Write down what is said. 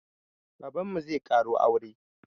Babanmu zai ƙaro aure